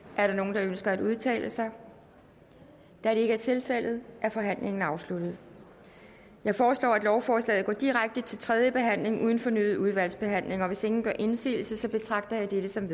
er der nogen der ønsker at udtale sig da det ikke er tilfældet er forhandlingen afsluttet jeg foreslår at lovforslaget går direkte til tredje behandling uden fornyet udvalgsbehandling hvis ingen gør indsigelse betragter jeg dette som